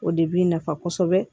O de bi nafa kosɛbɛ